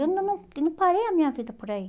Eu ainda não eu não parei a minha vida por aí.